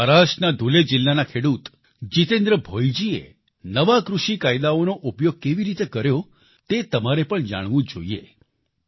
મહારાષ્ટ્રના ધૂલે જિલ્લાના ખેડૂત જિતેન્દ્ર ભોઈજીએ નવા કૃષિ કાયદાઓનો ઉપયોગ કેવી રીતે કર્યો તે તમારે પણ જાણવું જોઈએ